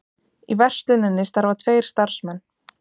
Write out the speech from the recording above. Í versluninni starfa tveir starfsmenn